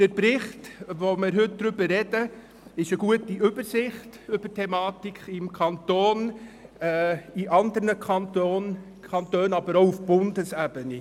Der Bericht, über den wir heute sprechen, bietet eine gute Übersicht über den Umgang mit dieser Thematik im Kanton sowie in anderen Kantonen, aber auch auf Bundesebene.